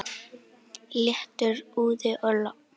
Léttur úði og logn.